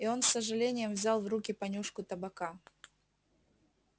и он с сожалением взял в руки понюшку табака